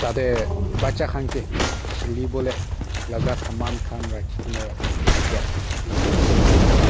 tate bacha khan ke khilibole laga saman khan rakhigene thakey itu dikhi pai ase.